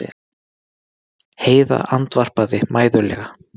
Heiða andvarpaði mæðulega.